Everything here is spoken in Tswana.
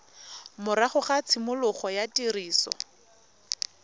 morago ga tshimologo ya tiriso